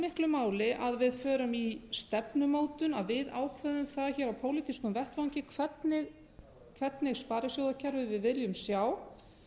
miklu máli að við förum í stefnumótun að við ákveðum það hér á pólitískum vettvangi hvernig sparisjóðakerfi við viljum sjá